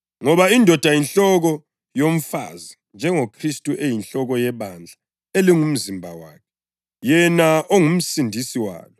Ngoba indoda yinhloko yomfazi njengoKhristu eyinhloko yebandla elingumzimba wakhe, yena onguMsindisi walo.